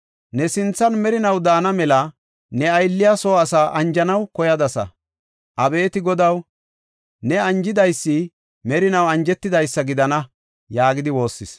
Ne sinthan merinaw daana mela ne aylliya soo asaa anjanaw koyadasa. Abeeti Godaw, ne anjidaysi merinaw anjetidaysa gidana” yaagidi woossis.